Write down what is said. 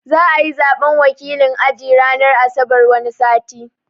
Za'ayi Zaɓen wakilin aji ranar asabar wani sati